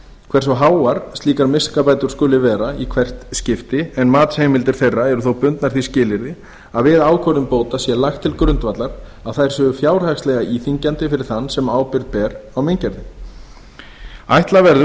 hversu háar slíkar miskabætur skuli vera í hvert skipti en matsheimildir þeirra eru þó bundnar því skilyrði að við ákvörðun bóta sé lagt til grundvallar að þær séu fjárhagslega íþyngjandi fyrir þann sem ábyrgð ber á meingerðinni ætla verður